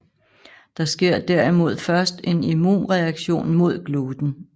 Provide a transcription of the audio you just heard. Der sker derimod først en immunreaktion mod gluten